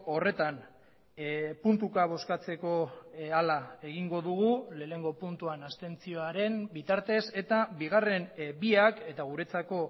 horretan puntuka bozkatzeko hala egingo dugu lehenengo puntuan abstentzioaren bitartez eta bigarren biak eta guretzako